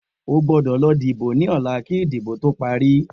O gbódò lọ dìbò ní ọ̀la kí ìdìbò tó parí